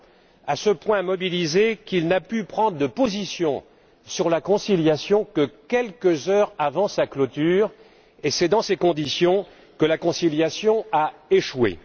Il a été à ce point mobilisé qu'il n'a pu prendre de position sur la conciliation que quelques heures avant sa clôture, et c'est dans ces conditions que la conciliation a échoué.